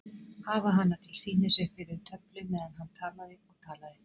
Hafa hana til sýnis uppi við töflu meðan hann talaði og talaði.